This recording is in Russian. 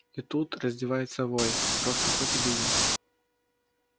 и тут раздевается вой просто хоть и беги